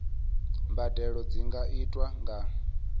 mbadelo dzi nga itwa nga